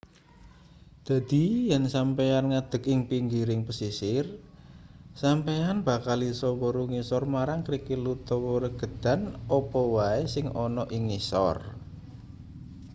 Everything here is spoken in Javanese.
dadi yen sampeyan ngadeg ing pinggiring pesisir sampeyan bakal isa weruh ngisor marang krikil utawa regedan apa wae sing ana ing ngisor